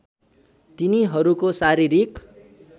तिनीहरूको शारीरिक